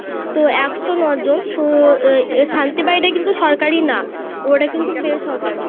তো একশো ন জন তো এই শান্তি বাড়ি টা কিন্তু সরকারি না ওটা কিন্তু বেসরকারি .